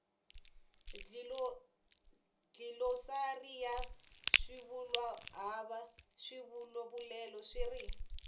dlilosari ya swivulwahava swivulavulelo swivuriso